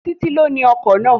Títí ló ni ọkọ̀ náà